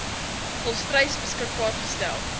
volstruis beskikbaar gestel